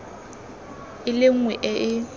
e le nngwe e e